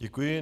Děkuji.